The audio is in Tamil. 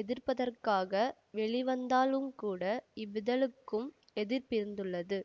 எதிர்ப்பதற்காக வெளிவந்தாலும்கூட இவ்விதழுக்கும் எதிர்ப்பிருந்துள்ளது